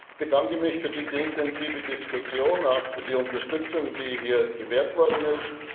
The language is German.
Ich bedanke mich für diese intensive Diskussion, auch für die Unterstützung, die hier gewährt worden ist.